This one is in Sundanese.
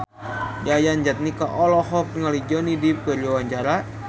Yayan Jatnika olohok ningali Johnny Depp keur diwawancara